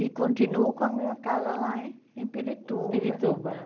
E continuo com a minha casa lá em em Pirituba. Pirituba